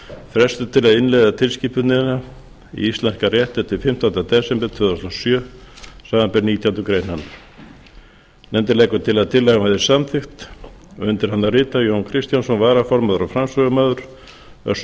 frestur til að innleiða tilskipunina í íslenskan rétt er til fimmtánda desember tvö þúsund og sjö samanber nítjánda grein hennar nefndin leggur til að tillagan verði samþykkt undir hana rita jón kristjánsson varaformaður og framsögumaður össur